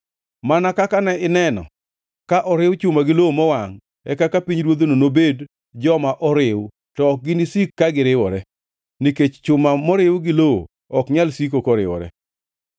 Mana kaka ne ineno ka oriw chuma gi lowo mowangʼ, e kaka jo-pinyruodhno nobed joma oriw, to ok ginisik ka giriwore, nikech chuma moriw gi lowo ok nyal siko koriwore.